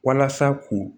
Walasa k'u